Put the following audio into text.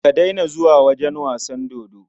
Ka daina zuwa wajen wasan dodo.